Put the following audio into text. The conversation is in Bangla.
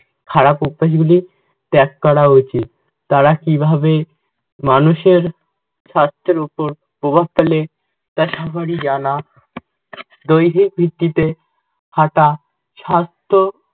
খারাপ অভ্যাস গুলি ত্যাগ করা উচিত। তারা কিভাবে মানুষের স্বাস্থ্যের ওপর প্রভাব ফেলে তা সবারই জানা। দৈহিক ভিত্তিতে হাঁটা স্বাস্থ্য